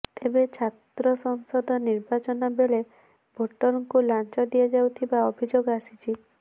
ତେବେ ଛାତ୍ର ସଂସଦ ନିର୍ବାଚନ ବେଳେ ଭୋଟ୍ରଙ୍କୁ ଲାଞ୍ଚ ଦିଆଯାଉଥିବା ଅଭିଯୋଗ ଆସିଛି